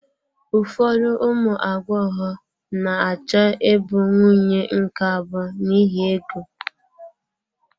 Ụfọdụ ụmụ agbọghọ na-achọ ịbụ nwunye nke abụọ n'ihi ego.